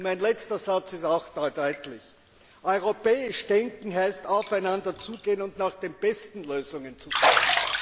Mein letzter Satz ist auch deutlich Europäisch denken heißt, aufeinander zuzugehen und nach den besten Lösungen zu suchen.